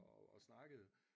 Og og snakkede